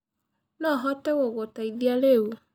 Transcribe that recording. Nohote gũgũteĩthĩa rĩũ.